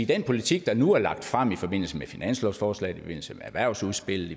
den politik der nu er lagt frem i forbindelse med finanslovsforslaget i forbindelse med erhvervsudspillet